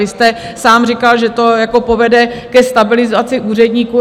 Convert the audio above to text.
Vy jste sám říkal, že to povede ke stabilizaci úředníků.